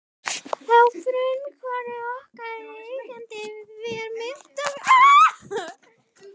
Að frumkvæði okkar og eigenda var myndin aldursgreind.